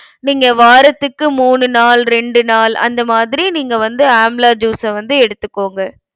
நீங்க வாரத்துக்கு மூணு நாள், ரெண்டு நாள் அந்த மாதிரி நீங்க வந்து amla juice அ வந்து எடுத்துக்கோங்க.